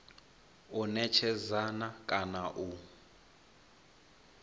u netshedza na kana u